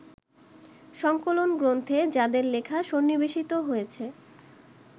সংকলনগ্রন্থে যাঁদের লেখা সন্নিবেশিত হয়েছে